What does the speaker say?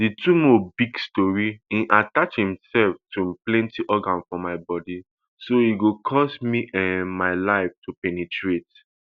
di tumor big sotey e attach imsef to plenti organ for my bodi so e go cost me um my life to penetrate